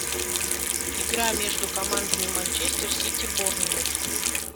игра между командами манчестер сити борнмут